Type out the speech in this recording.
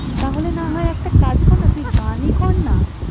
তাহলে না হয় একটা কাজ কর না! তুই গানই কর না।